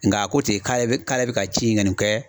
Nka a ko ten k'ale k'ale bɛ ka ci in kɔni kɛ